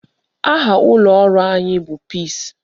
Aha ụlọ ọrụ anyị bụ PEACE.